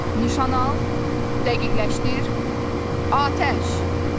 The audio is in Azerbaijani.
Nişan al, dəqiqləşdir, Atəş!